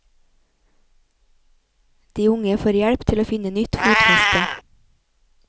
De unge får hjelp til å finne nytt fotfeste.